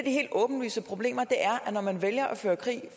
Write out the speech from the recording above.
helt åbenlyse problemer er at når man vælger at føre krig